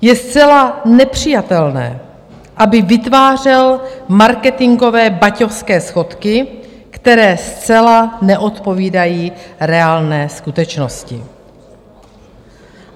Je zcela nepřijatelné, aby vytvářel marketingové baťovské schodky, které zcela neodpovídají reálné skutečnosti.